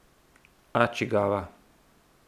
A čigava?